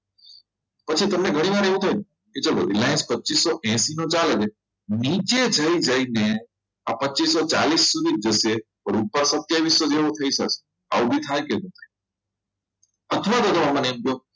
પછી તમને ઘણી વાર એવું થાય કે Reliance ચાલુ પચીસોએસી નો ચાલે છે નીચે જઈને આ પચીસો ચાલીસ સુધી જશે ને ઉપર તો સાથીયાવિસો નેવું થઈ શકે આવું બી થાય કે નહીં અથવા તો આમાં નહીં